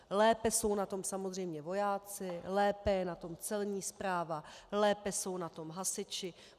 Lépe jsou na tom samozřejmě vojáci, lépe je na tom celní správa, lépe jsou na tom hasiči.